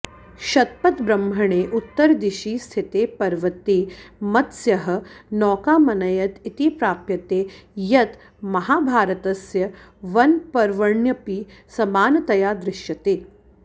शतपथब्रह्मणे उत्तरदिशि स्थिते पर्वते मत्स्यः नौकामनयत् इति प्राप्यते यत् महाभारतस्य वनपर्वण्यपि समानतया दृश्यते